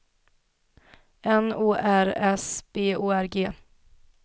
N O R S B O R G